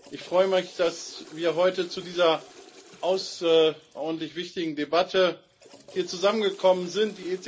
Ich freue mich, dass wir heute zu dieser außerordentlich wichtigen Debatte hier zusammengekommen sind.